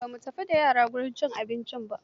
Ba mu tafi da yara wajen cin abincin ba.